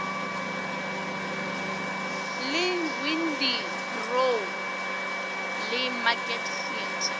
le windybrow le market theatre